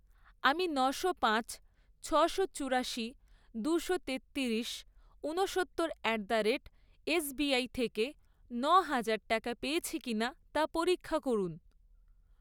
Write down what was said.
আমি নশো পাঁচ, ছশো চুরাশি, দুশো তেত্তিরিশ, উনসত্তর অ্যাট দ্য রেট এসবিআই থেকে ন'হাজার টাকা পেয়েছি কিনা তা পরীক্ষা করুন।